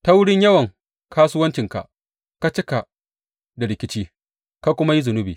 Ta wurin yawan kasuwancinka ka cika da rikici, ka kuma yi zunubi.